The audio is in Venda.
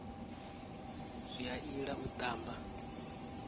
zwi a ila u tamba